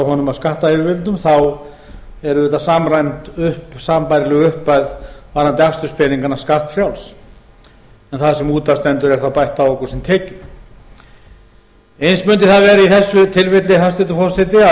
honum af skattayfirvöldum þá er auðvitað samræmd sambærileg upphæð varðandi aksturspeningana skattfrjáls en það sem út af stendur er þá bætt á okkur sem tekjum eins mundi það vera í þessu tilfelli hæstvirtur forseti